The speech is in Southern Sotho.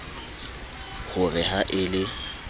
ho re ha e le